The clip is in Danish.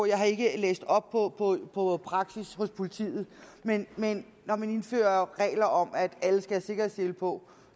jeg har ikke læst op på praksis hos politiet men men når man indfører regler om at alle skal have sikkerhedssele på